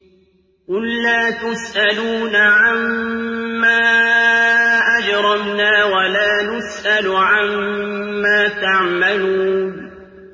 قُل لَّا تُسْأَلُونَ عَمَّا أَجْرَمْنَا وَلَا نُسْأَلُ عَمَّا تَعْمَلُونَ